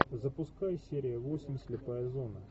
запускай серия восемь слепая зона